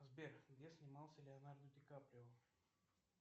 сбер где снимался леонардо дикаприо